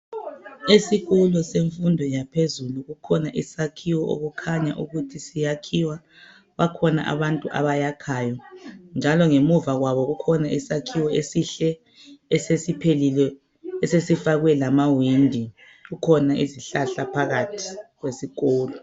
Esikolo semfundo yaphezulu kukhona isakhiwo okukhanya ukuthi siyakhiwa kukhona abantu abayakhayo njalo ngemuva kwabo kukhona isakhiwo esihle esesiphelile esesifakwe lamawindi kukhona isihlahla phakathi kwesikolo.